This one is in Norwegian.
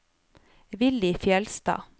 Villy Fjellstad